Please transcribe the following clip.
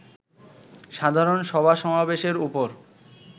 সাধারণ সভা-সমাবেশের উপর